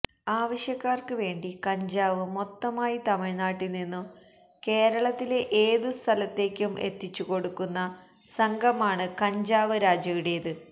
ആവശ്യക്കാര്ക്ക് വേണ്ടി കഞ്ചാവ് മൊത്തമായി തമിഴ്നാട്ടില് നിന്നും കേരളത്തിലെ ഏതു സ്ഥലത്തേക്കും എത്തിച്ചുകൊടുക്കുന്ന സംഘമാണ് കഞ്ചാവ് രാജയുടേത്